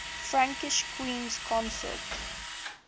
frankish queens consort